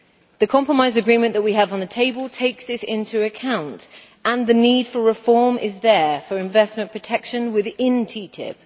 The compromise agreement that we have on the table takes this into account, and the need for reform is there for investment protection within TTIP.